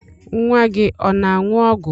Nwa gị ọ na-aṅụ ọgwụ?